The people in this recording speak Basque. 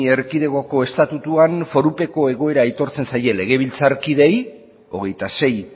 erkidegoko estatutuan forupeko egoera aitortzen zaie legebiltzarkideei hogeita sei